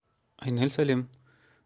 айнель сәлем